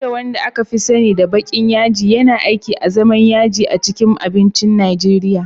Uda, wanda aka fi sani da baƙin yaji, yana aiki azaman yaji a cikin abincin Najeriya